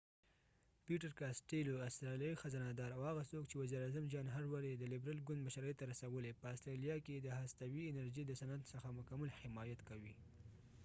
پیټر کاسټیلو peter costello ، استرالیایې خزانه دار او هغه څوک چې وزیر اعظم جان هاورډ john howardیې د لبرل ګوند مشرۍ ته رسولی په استرالیا کې د هستوي انرژی د صنعت څخه مکمل حمایت کړي